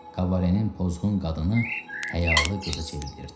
Kabenin pozğun qadını həyalı qıza çevrilirdi.